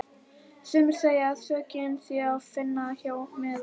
Sumir segja að sökina sé að finna hjá mæðrum okkar.